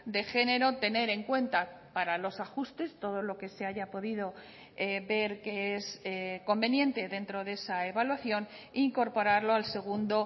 de género tener en cuenta para los ajustes todo lo que se haya podido ver que es conveniente dentro de esa evaluación e incorporarlo al segundo